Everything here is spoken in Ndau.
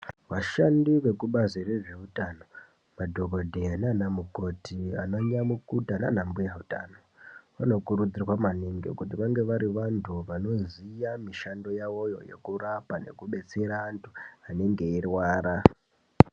Vashandi vekubazi rezveutano madhokodheya nana mukoti ana nyamukuta nana mbuya utano vanokurudzirwa maningi kuti vange bari vantu vanoziya mishando yavo yekurapa nekudetsera antu anenge eirwara.